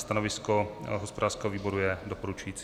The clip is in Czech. Stanovisko hospodářského výboru je doporučující.